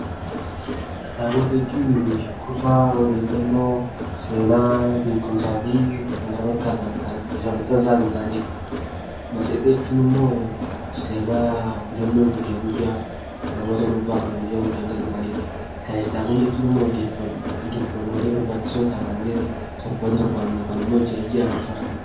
Kitaabota jechuun kuusaa odeeffannoo, seenaa, beekumsaa fi kan kana fakkaatan kan bifa maxxansaatiin kan ta'anidha. Matseetii jechuun immoo seenaa mudannoo guyya guyyaa namoota dhuunfaa kan guyyaa guyyaan galmaa'anidha. Gaazexaawwan jechuun immoo odeeffannoolee barbaachisoo ta'an kanneen torban torbaniin yookaan immoo ji'a ji'aan fa.